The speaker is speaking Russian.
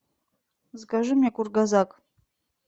закажи мне кургазак